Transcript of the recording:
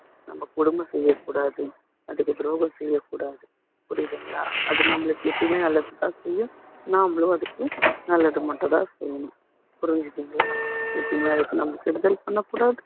நம்ம கொடுமை செய்ய கூடாது அதுக்கு துரோகம் செய்ய கூடாது புரியுதுங்களா அது நம்மளுக்கு எப்பயுமே நல்லதை தான் செய்யும் நம்மளும் அதுக்கு நல்லதை மட்டும் தான செய்யணும் புரிஞ்சுதுங்களா எப்பையுமே அதுக்கு நம்ம கெடுதல் பண்ணக்கூடாது